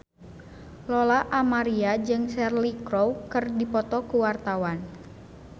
Lola Amaria jeung Cheryl Crow keur dipoto ku wartawan